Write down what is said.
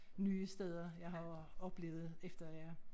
Nye steder jeg har oplevet efter jeg